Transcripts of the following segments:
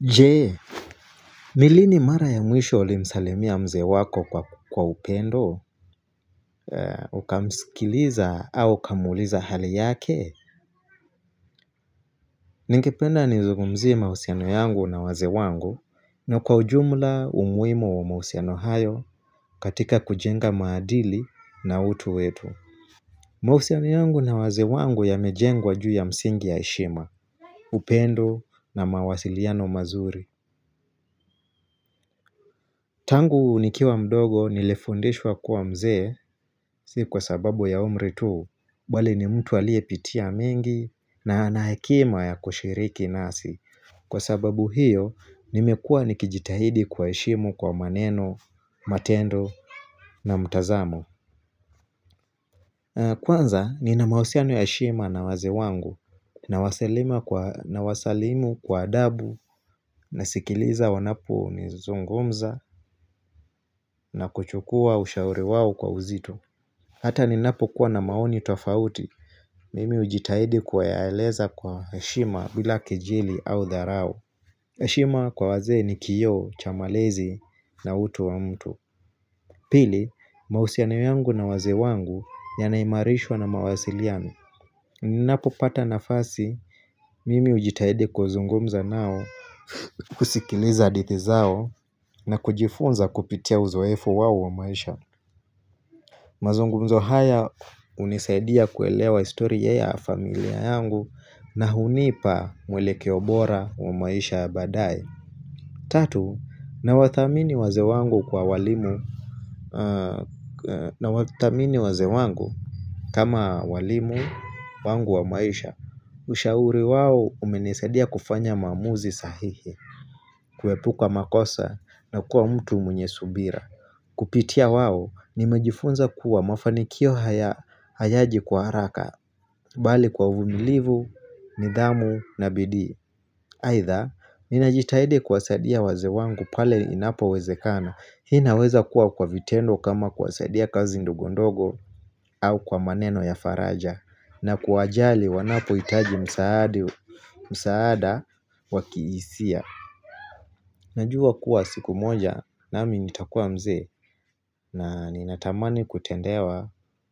Jee, ni lini mara ya mwisho ulimsalimia mzee wako kwa upendo, ukamsikiliza au ukamuuliza hali yake? Ningependa nizungumzie mahusiano yangu na wazee wangu na kwa ujumla umuhimu wa mahusiano hayo katika kujenga maadili na utu wetu. Mahusiano yangu na wazee wangu yamejengwa juu ya msingi ya heshima, upendo na mawasiliano mazuri. Tangu nikiwa mdogo nilifundishwa kuwa mzee si kwa sababu ya umri tu Bwale ni mtu aliyepitia mingi na ana hekima ya kushiriki nasi Kwa sababu hiyo nimekua nikijitahidi kuwaheshimu kwa maneno, matendo na mutazamk Kwanza nina mahusiano ya heshima na wazee wangu nawasalimu kwa adabu nasikiliza wanapo ni zungumza na kuchukua ushauri wao kwa uzito Hata ninapokua na maoni tofauti, mimi hujitahidi kuyaeleza kwa heshima bila kejili au dharau. hEshima kwa wazee ni kioo, cha malezi na utu wa mtu. Pili, mahusiano yangu na wazee wangu yanaimarishwa na mawasiliano. Ninapopata nafasi, mimi hujitahidi kuzungumza nao kusikiliza hadhiti zao na kujifunza kupitia uzoefu wao wa maisha. Mazungunzo haya hunisaidia kuelewa historia ya familia yangu na hunipa mwelekeo bora wa maisha baadae Tatu, nawathamini wazee wangu kwa walimu kama walimu wangu wa maisha Ushauri wao umenisaidia kufanya maamuzi sahihi, kuepuka makosa na kuwa mtu mwenye subira Kupitia wao nimejifunza kuwa mafanikio hayaji kwa haraka Bali kwa uvumilivu, nidhamu na bidii Aidha, ninajitaidi kuwasaidia wazee wangu pale inapowezekana Hii naweza kuwa kwa vitendo kama kuwasaidia kazi ndogondogo au kwa maneno ya faraja na kuwajali wanapohitaji msaada wa kihisia Najua kuwa siku moja nami nitakua mzee na ninatamani kutendewa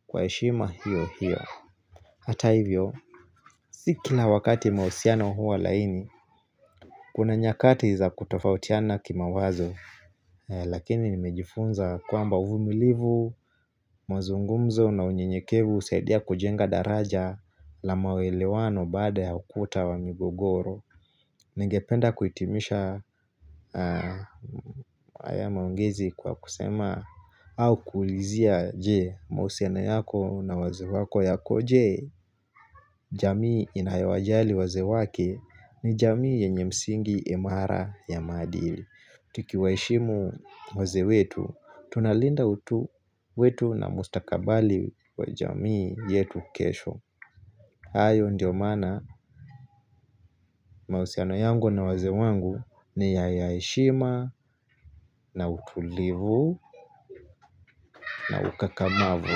kwa heshima hiyo hiyo Hata hivyo, si kila wakati mahusiano huwa laini Kuna nyakati za kutofautiana kimawazo Lakini nimejifunza kwamba uvumilivu, mazungumzo na unyenyekevu hUsaidia kujenga daraja la maelewano baada ya ukuta wa migogoro Ningependa kuhitimisha haya maongezi kwa kusema au kuulizia je mahusiano yako na wazee wako yakoje jamii inayowajali wazee wake ni jamii yenye msingi imara ya maadili. Tukiwaheshimu wazee wetu, tunalinda utu wetu na mustakabali wa jamii yetu kesho. Hayo ndio maana mahusiana yangu na wazee wangu ni ya heshima na utulivu na ukakamavu.